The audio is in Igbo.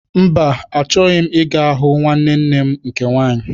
Mba, achọghị m ịga hụ nwanne nne m nke nwaanyị.